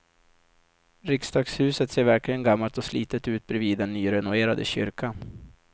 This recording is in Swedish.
Riksdagshuset ser verkligen gammalt och slitet ut bredvid den nyrenoverade kyrkan.